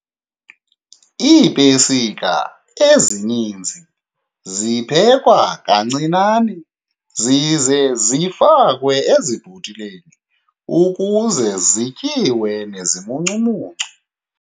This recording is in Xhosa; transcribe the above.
Iipesika ezininzi ziphekwa kancinane zize zifakwe ezibhotileni ukuze zityiwe nezimuncumuncu.